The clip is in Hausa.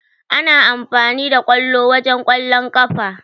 A na amfani da ƙwallo wajen Ƙwallon ƙafa.